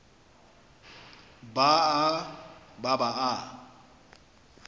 ba a ba ba a